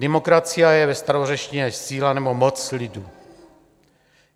Demokratia je ve starořečtině síla nebo moc lidu.